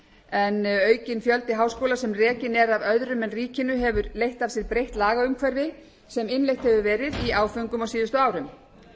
en aukinn fjöldi háskóla sem rekinn er af öðrum en ríkinu hefur leitt af sér breytt lagaumhverfi sem innleitt hefur verð í áföngum á síðustu árum